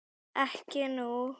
Ekki nú.